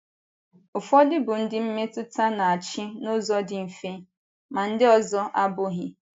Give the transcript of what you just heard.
Ụfọdụ bụ ndị mmetụta na - achị n’ụzọ dị mfe, ma ndị ọzọ abụghị.